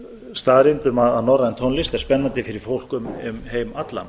staðreynd um að norræn tónlist er spennandi fyrir fólk um heim allan